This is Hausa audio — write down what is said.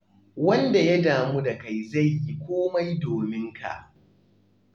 Wanda ya damu da kai zai yi komai domin ka.